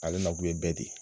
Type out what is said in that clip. Ale na kun ye bɛɛ de ye.